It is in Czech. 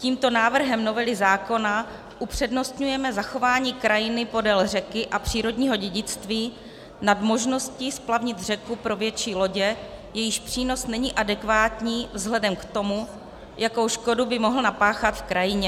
Tímto návrhem novely zákona upřednostňujeme zachování krajiny podél řeky a přírodního dědictví nad možností splavnit řeku pro větší lodě, jejichž přínos není adekvátní vzhledem k tomu, jakou škodu by mohl napáchat v krajině.